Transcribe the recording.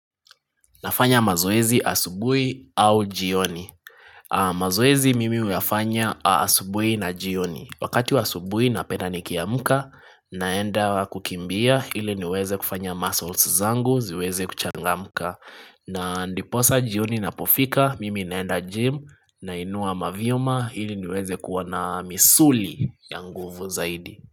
Nafanya mazoezi asubui au jioni mazoezi mimi huyafanya asubui na jioni Wakati wa asubui napenda nikiamuka naenda kukimbia ili niweze kufanya muscles zangu ziweze kuchangamuka na ndiposa jioni inapofika Mimi naenda gym Nainua mavyuma ili niweze kuwa na misuli ya nguvu zaidi.